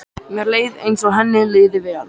Mér leið eins og henni liði vel.